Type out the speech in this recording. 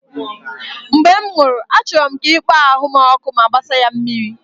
Mgbe m nwụrụ, achọrọ m ka ị kpọọ ahụ m ọkụ ma gbasaa ya na mmiri